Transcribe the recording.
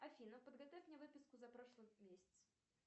афина подготовь мне выписку за прошлый месяц